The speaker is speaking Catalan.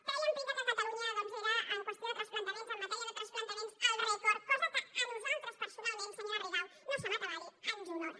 treien pit que catalunya era en qüestió de transplantaments en matèria de transplantaments el rècord cosa que a nosaltres personalment senyora rigau no se m’atabali ens honora